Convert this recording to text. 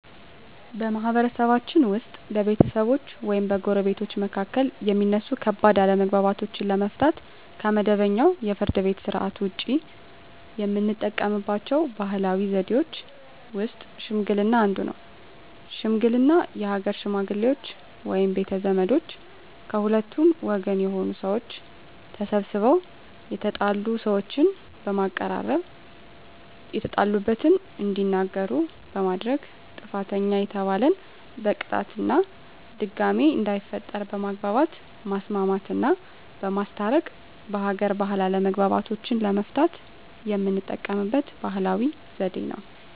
በማህበረሰብችን ውስጥ በቤተሰቦች ወይም በጎረቤቶች መካከል የሚነሱ ከባድ አለመግባባቶችን ለመፍታት (ከመደበኛው የፍርድ ቤት ሥርዓት ውጪ) የምንጠቀምባቸው ባህላዊ ዘዴዎች ውስጥ ሽምግልና አንዱ ነው። ሽምግልና የሀገር ሽመግሌዎች ወይም ቤተ ዘመዶች ከሁለቱም ወገን የሆኑ ሰዎች ተሰባስበው የተጣሉ ሰዎችን በማቀራረብ የተጣሉበትን እንዲናገሩ በማድረግ ጥፋተኛ የተባለን በቅጣት እና ድጋሜ እንዳይፈጠር በማግባባት ማስማማትና በማስታረቅ በሀገር ባህል አለመግባባቶችን ለመፍታት የምንጠቀምበት ባህላዊ ዘዴ ነው።